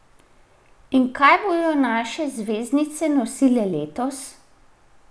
In kaj bodo naše zvezdnice nosile letos?